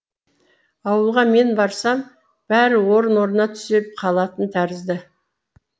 ауылға мен барсам бәрі орын орнына түсе қалатын тәрізді